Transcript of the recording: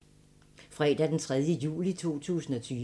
Fredag d. 3. juli 2020